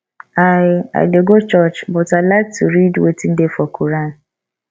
i i dey go church but i like to read wetin dey for quoran